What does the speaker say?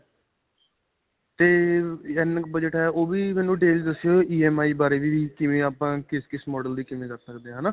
ਤੇ ਅਅ ਇੰਨੇ ਕ ਬਜਟ ਹੈ. ਓਹ ਵੀ ਮੈਨੂੰ details ਦੱਸਿਓ EMI ਬਾਰੇ ਵੀ ਕਿਵੇਂ ਆਪਾਂ ਕਿਸ-ਕਿਸ model ਦੀ ਕਿਵੇਂ ਕਰ ਸਕਦੇ ਹਾਂ ਹੈ ਨਾਂ.